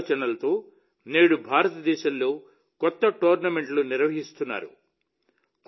ఈ ఆలోచనతో నేడు భారతదేశంలో కొత్త టోర్నమెంట్లు నిర్వహిస్తున్నారు